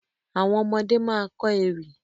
Àwọn ọmọdé ma kọ́ ewì